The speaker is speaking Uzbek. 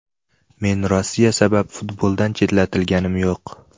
Men Rossiya sabab futboldan chetlatilganim yo‘q.